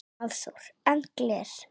Hafþór: En gler?